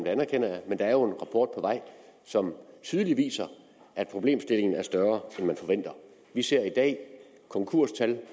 anerkender jeg men der er jo en rapport på vej som tydeligt viser at problemstillingen er større end man forventer vi ser i dag konkurstal